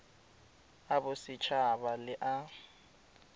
a boset haba le a